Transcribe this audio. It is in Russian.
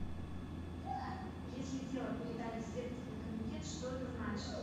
если дело передали в следственный комитет что это значит